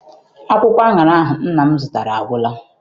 Akwụkwọ aṅara ahụ nna m zụtara agwụla.